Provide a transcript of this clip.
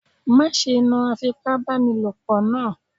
Má ṣe náà Afipábánilòpọ̀ naa.